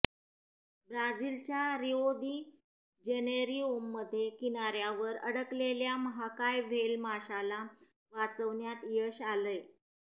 ब्राझीलच्या रिओ दि जेनेरीओमध्ये किनाऱ्यावर अडकलेल्या महाकाय व्हेल माशाला वाचवण्यात यश आलंय